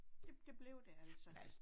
Det det blev det altså